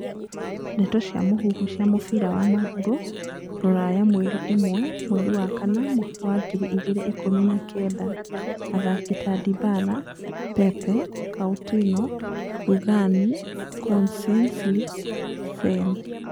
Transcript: Ndeto cia mũhuhu cia mũbira wa magũrũ Rũraya mweri ĩmwe mweri wa kanana mwaka wa ngiri igĩrĩ ikũmi na kenda athaki ta Dybala, Pepe, Coutinho, Rugani, Koscienly, Sane.